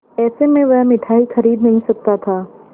ऐसे में वह मिठाई खरीद नहीं सकता था